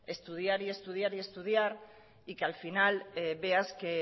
estudiar estudiar y estudiar y que al final veas que